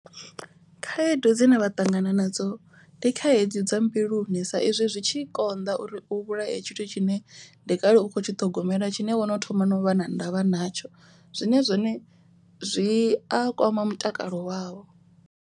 Khaedu dzine vha ṱangana nadzo ndi khaedu dza mbiluni. Sa izwi zwi tshi konḓa uri u vhulaye tshithu tshine ndi kale u kho tshi ṱhogomela tshine wono thoma no vha na ndavha natsho. Zwine zwone zwi a kwama mutakalo wavho.